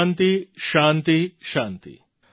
શાન્તિ શાન્તિ